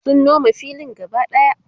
sun Nome filin gaba ɗaya